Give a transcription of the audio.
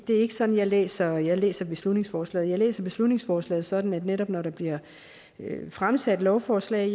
det er ikke sådan jeg læser jeg læser beslutningsforslaget jeg læser beslutningsforslaget sådan at det netop når der bliver fremsat lovforslag